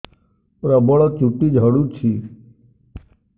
ପ୍ରବଳ ଚୁଟି ଝଡୁଛି